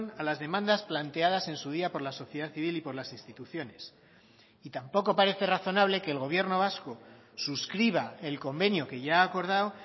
a las demandas planteadas en su día por la sociedad civil y por las instituciones y tampoco parece razonable que el gobierno vasco suscriba el convenio que ya ha acordado